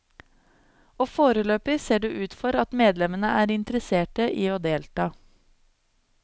Og foreløpig ser det ut for at medlemmene er interesserte i å delta.